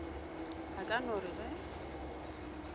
a ka no re ge